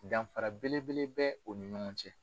Danfara bele bele bɛ o ni ɲɔgɔn cɛ.